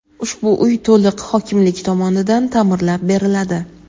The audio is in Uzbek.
ushbu uy to‘liq hokimlik tomonidan ta’mirlab beriladi.